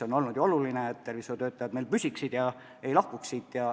On ju oluline, et tervishoiutöötajad Eestis püsiksid ega lahkuks siit.